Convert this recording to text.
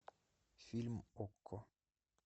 фильм окко